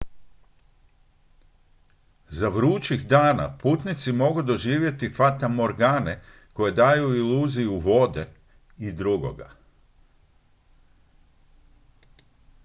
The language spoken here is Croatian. za vrućih dana putnici mogu doživjeti fatamorgane koje daju iluziju vode i drugog